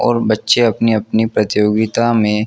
और बचे अपनी अपनी प्रतियोगिता मे--